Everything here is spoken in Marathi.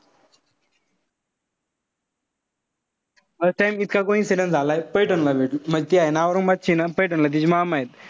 First time इतका coincidence झालाय. पैठणला भेटून. म्हणजे ती हाये ना औरंगाबादचीय ना पैठणला तिचे मामाये.